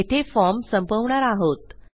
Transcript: येथे फॉर्म संपवणार आहोत